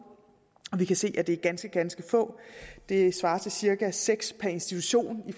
vi kan se at det er ganske ganske få det svarer til cirka seks per institution i